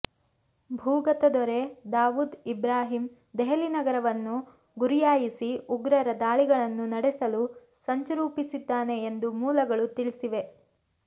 ಭೂಗತ ದೊರೆ ದಾವೂದ್ ಇಬ್ರಾಹಿಂ ದೆಹಲಿ ನಗರವನ್ನು ಗುರಿಯಾಗಿಸಿ ಉಗ್ರರ ದಾಳಿಗಳನ್ನು ನಡೆಸಲು ಸಂಚು ರೂಪಿಸಿದ್ದಾನೆ ಎಂದು ಮೂಲಗಳು ತಿಳಿಸಿವೆ